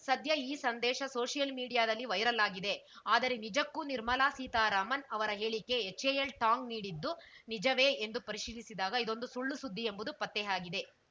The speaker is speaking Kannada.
ಸದ್ಯ ಈ ಸಂದೇಶ ಸೋಷಿಯಲ್‌ ಮೀಡಿಯಾದಲ್ಲಿ ವೈರಲ್‌ ಆಗಿದೆ ಆದರೆ ನಿಜಕ್ಕೂ ನಿರ್ಮಲಾ ಸೀತಾರಾಮನ್‌ ಅವರ ಹೇಳಿಕೆ ಎಚ್‌ಎಎಲ್‌ ಟಾಂಗ್‌ ನೀಡಿದ್ದು ನಿಜವೇ ಎಂದು ಪರಿಶೀಲಿಸಿದಾಗ ಇದೊಂದು ಸುಳ್ಳುಸುದ್ದಿ ಎಂಬುದು ಪತ್ತೆಯಾಗಿದೆ